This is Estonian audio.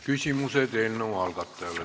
Küsimused eelnõu algatajale.